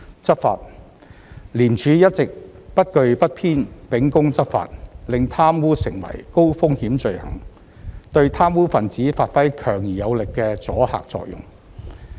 執法廉署一直不懼不偏秉公執法，令貪污成為高風險罪行，對貪污分子發揮強而有力的阻嚇作用。